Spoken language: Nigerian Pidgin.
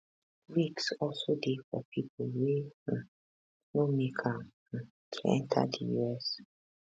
risks also dey for pipo wey um no make am um to enta di us